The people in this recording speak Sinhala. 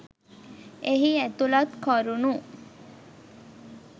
එහි ඇතුළත් කරුණු